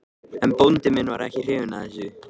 En bóndi minn var ekki hrifinn af þessu.